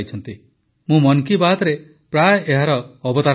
ମୁଁ ମନ୍ କୀ ବାତ୍ରେ ପ୍ରାୟ ଏହାର ଅବତାରଣା କରିଛି